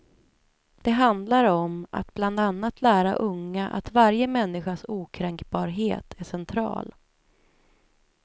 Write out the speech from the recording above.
Det handlar om att bland annat lära unga att varje människas okränkbarhet är central.